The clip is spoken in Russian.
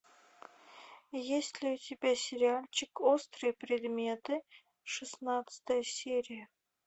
есть ли у тебя сериальчик острые предметы шестнадцатая серия